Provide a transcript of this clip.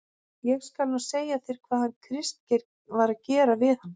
ÉG SKAL NÚ SEGJA ÞÉR HVAÐ HANN KRISTGEIR VAR AÐ GERA VIÐ HANN.